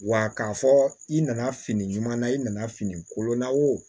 Wa k'a fɔ i nana fini ɲuman na i nana fini kolon na o